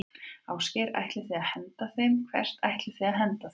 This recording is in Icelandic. Ásgeir: Ætlið þið að henda þeim, hvert ætlið þið að henda þeim?